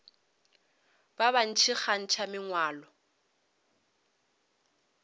ba bantši ba kgantšha mangwalo